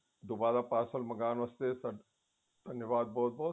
ਦੁਬਾਰਾ parcel ਮੰਗਵਾਉਣ ਵਾਸਤੇ ਧੰਨਵਾਦ ਬਹੁਤ ਬਹੁਤ